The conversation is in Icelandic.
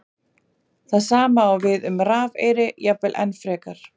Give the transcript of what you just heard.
Það sama á við um rafeyri, jafnvel enn frekar.